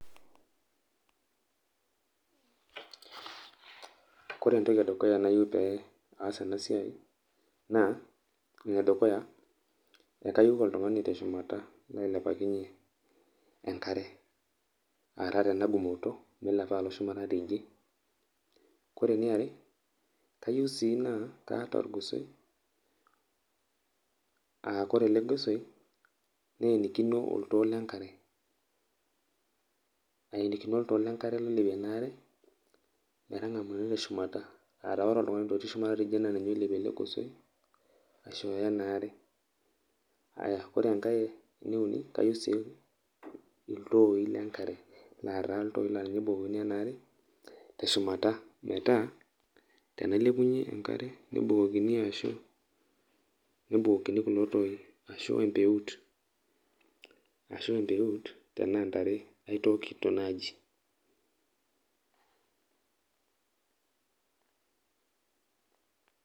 Kore entoki edukuya nayieu pee aas enasiai, naa, edukuya, ekayieu oltung'ani teshumata lailepakinye enkare. Ataa tena gumoto milepa alo shumata tede. Kore eniare, kayieu sii naa, kaata orgosoi. Ah kore ele gosoi, nenikino oltoo lenkare. Aenikino oltoo lenkare oilepie enaare, metang'amuni teshumata. Ataa ore oltung'ani otii shumata teidie naa ninye oilepie ele gosoi, aishooyo enaare. Aya, ore enkae euni, kayieu si iltooi lenkare. Lataa iltooi la ninye ebukokini enaare, teshumata, metaa, tenailepunye enkare, nebukokini ashu, nebukokini kulo tooi. Ashu empeut. Ashu empeut, tenaa ntare aitookito naji.